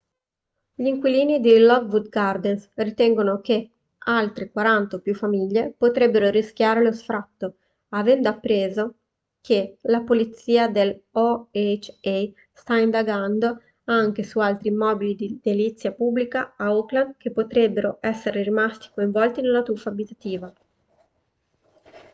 gli inquilini di lockwood gardens ritengono che altre 40 o più famiglie potrebbero rischiare lo sfratto avendo appreso che la polizia dell'oha sta indagando anche su altri immobili di edilizia pubblica a oakland che potrebbero essere rimasti coinvolti nella truffa abitativa